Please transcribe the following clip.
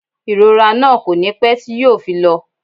Ìrora náà kò ní pé tí yo fi lọ